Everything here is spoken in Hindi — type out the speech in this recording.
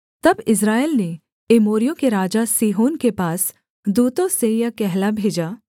तब इस्राएल ने एमोरियों के राजा सीहोन के पास दूतों से यह कहला भेजा